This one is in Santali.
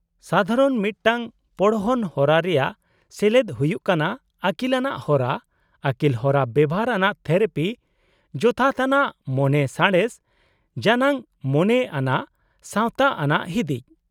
-ᱥᱟᱫᱷᱟᱨᱚᱱ ᱢᱤᱫ ᱴᱟᱝ ᱯᱚᱲᱦᱚᱱ ᱦᱚᱨᱟ ᱨᱮᱭᱟᱜ ᱥᱮᱞᱮᱫ ᱦᱩᱭᱩᱜ ᱠᱟᱱᱟ ᱟᱹᱠᱤᱞᱟᱱᱟᱜ ᱦᱚᱨᱟ, ᱟᱹᱠᱤᱞᱦᱚᱨᱟ ᱵᱮᱣᱦᱟᱨ ᱟᱱᱟᱜ ᱛᱷᱮᱨᱟᱯᱤ, ᱡᱚᱛᱷᱟᱛ ᱟᱱᱟᱜ ᱢᱚᱱᱮ ᱥᱟᱬᱮᱥ, ᱡᱟᱱᱟᱝ ᱢᱚᱱᱮ ᱟᱱᱟᱜ ᱥᱟᱶᱛᱟᱟᱱᱟᱜ ᱦᱤᱫᱤᱡ ᱾